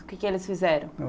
O que que eles fizeram?